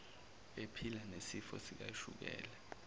ephila nesifo sikashukela